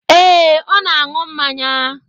Ee, ọ na-aṅụ mmanya.